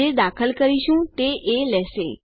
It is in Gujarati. જે દાખલ કરીશું તે એ લેશે